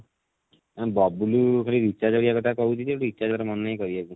ଆମ ବବୁଲୁ ଖାଲି recharge କରିବା କଥା କହୁଛି ଯେ recharge ଗୋଟେ ମାନେ ନାହିଁ କରିବାକୁ